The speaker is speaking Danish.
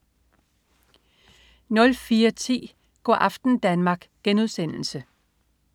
04.10 Go' aften Danmark*